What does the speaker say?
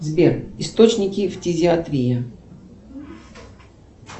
сбер источники фтизиатрии